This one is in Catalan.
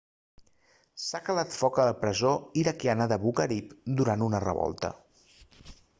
s'ha calat foc a la presó iraquiana d'abu ghraib durant una revolta